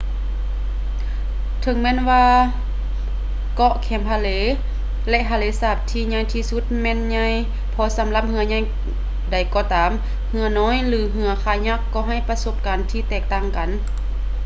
ເຖິງແມ່ນວ່າເກາະແຄມທະເລ ແລະ ທະເລສາບທີ່ໃຫຍ່ທີ່ສຸດແມ່ນໃຫຍ່ພໍສຳລັບເຮືອໃຫຍ່ໃດກໍຕາມ ເຮືອນ້ອຍ ຫຼື ເຮືອຄາຍັກກໍໃຫ້ປະສົບການທີ່ແຕກຕ່າງກັນ